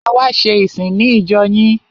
A wá ṣe ìsìn ní ìjọ yín.